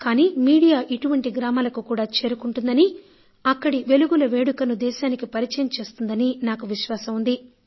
కానీ మీడియా ఇటువంటి గ్రామాలకు చేరుకుంటుందనీ అక్కడి వెలుగుల వేడుకను దేశానికి పరిచయం చేస్తుందని నాకు నమ్మకం ఉంది